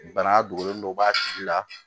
Bana dogolen dɔ b'a tigi la